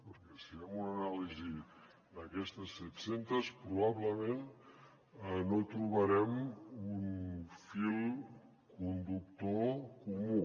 perquè si fem una anàlisi d’aquestes set centes probablement no trobarem un fil conductor comú